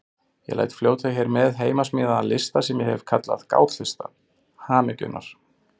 Ég læt fljóta hér með heimasmíðaðan lista sem ég hef kallað Gátlista hamingjunnar.